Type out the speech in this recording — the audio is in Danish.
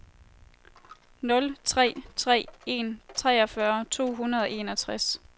nul tre tre en treogfyrre to hundrede og enogtres